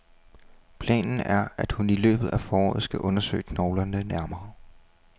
Planen er, at hun i løbet af foråret skal undersøge knoglerne nærmere.